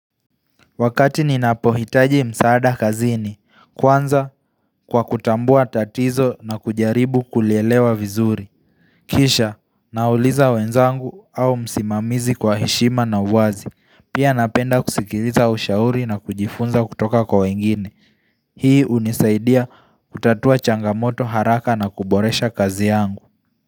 Wakati ninapohitaji msaada kazini, kwanza kwa kutambua tatizo na kujaribu kulielewa vizuri. Kisha, nauliza wenzangu au msimamizi kwa heshima na uwazi. Pia napenda kusikiliza ushauri na kujifunza kutoka kwa wengine. Hii unisaidia kutatua changamoto haraka na kuboresha kazi yangu.